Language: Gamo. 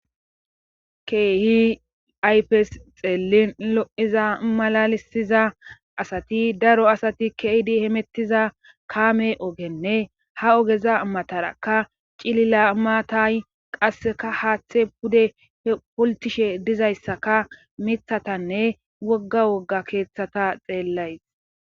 Keehi ayfes xeellin lo'iza malalisiza asati daro asati keydi hemettiza kaame ogenne ha ogeza matarakka cilila maatay qasseka haaththe pude poltishe dizayssaka mithatanne wogga wogga keeththata xeellays.